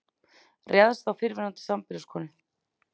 Réðst á fyrrverandi sambýliskonu